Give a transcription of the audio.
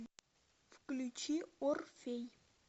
включи орфей